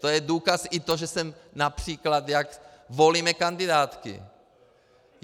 To je důkaz i to, že jsem, například jak volíme kandidátky.